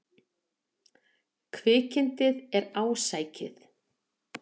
Kvikindið er ásækið.